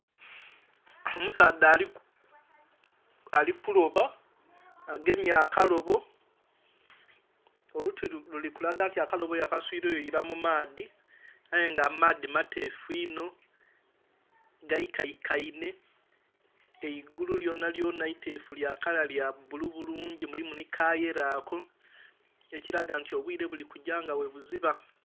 Omusaadha ali kuloba, agemye akalobo. Oluti luli kulaga nti akalobo yakaswiileyo ila mu maadhi. Aye nga amaadhi mateefu inho, ghaikaikainhe. Eigulu lyonalyona iteefu lya kala lya bbulu bulungi mulimu nhi ka yellow ako, ekilaga nti obwile buli kugya nga bwebuziba.